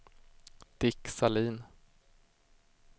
Dick Sahlin